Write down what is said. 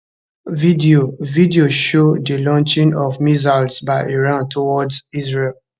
video video show di launching of missiles by iran towards israel